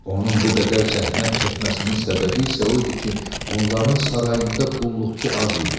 Onun bu qədər zəhmət çəkməsinin səbəbi isə o idi ki, onların sarayında qulluqçu az idi.